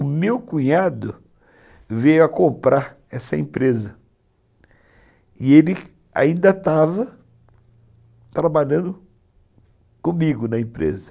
O meu cunhado veio a comprar essa empresa e ele ainda estava trabalhando comigo na empresa.